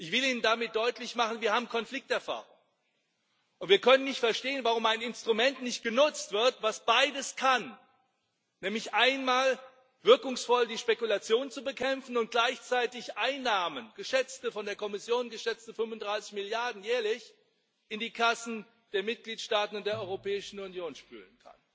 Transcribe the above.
Ich will Ihnen damit deutlich machen Wir haben Konflikterfahrung, und wir können nicht verstehen, warum ein Instrument nicht genutzt wird, das beides kann, nämlich einmal wirkungsvoll die Spekulation bekämpfen und gleichzeitig Einnahmen von der Kommission geschätzte 35 Milliarden jährlich in die Kassen der Mitgliedstaaten der Europäischen Union spülen.